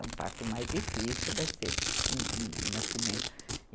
É um parto mais difícil, vai ser um, um nascimento.